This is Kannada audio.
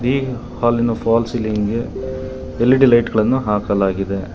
ಈ ಹಾಲಿನ ಫಾಲ್ ಸೀಲಿಂಗ್ ಗೆ ಎಲ್_ಇ_ಡಿ ಲೈಟ್ ಗಳನ್ನು ಹಾಕಲಾಗಿದೆ.